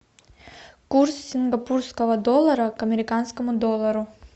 курс сингапурского доллара к американскому доллару